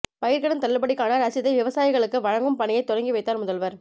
பயிர்க்கடன் தள்ளுபடிக்கான ரசீதை விவசாயிகளுக்கு வழங்கும் பணியை தொடங்கி வைத்தார் முதல்வர்